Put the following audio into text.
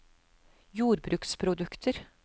jordbruksprodukter